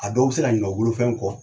A dɔw bɛ se ka ɲina o bolofɛn kɔ